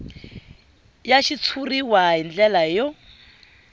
ya xitshuriwa hi ndlela yo